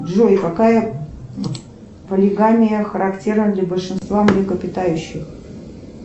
джой какая полигамия характерна для большинства млекопитающих